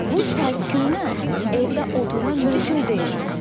Bu səs-küyə evdə oturmaq mümkün deyil.